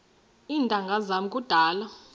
iintanga zam kudala